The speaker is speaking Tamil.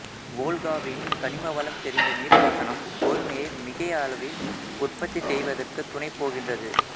வோல்காவின் கனிமவளம் செறிந்த நீர்ப்பாசனம் கோதுமையை மிகை அளவில் உற்பத்தி செய்வதற்குத் துணைபோகின்றது